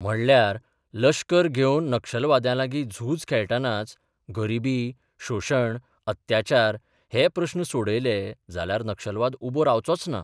म्हणल्यार लश्कर घेवन नक्षलवाद्यांलागी झूज खेळटनाच गरिबी, शोशण, अत्याचार हे प्रस्न सोडयले जाल्यार नक्षलवाद उबो रावचोच ना.